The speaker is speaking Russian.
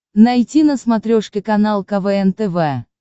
найти на смотрешке канал квн тв